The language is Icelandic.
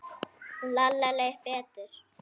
Lalla leið betur.